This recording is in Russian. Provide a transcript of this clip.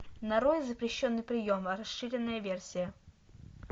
нарой запрещенный прием расширенная версия